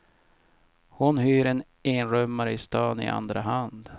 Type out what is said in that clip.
Hon hyr en enrummare i stan i andra hand.